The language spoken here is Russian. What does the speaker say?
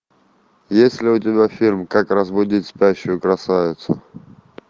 есть ли у тебя фильм как разбудить спящую красавицу